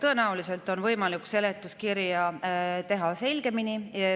Tõenäoliselt on võimalik seletuskirja teha selgemini.